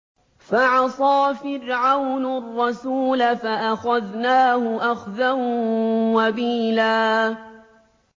فَعَصَىٰ فِرْعَوْنُ الرَّسُولَ فَأَخَذْنَاهُ أَخْذًا وَبِيلًا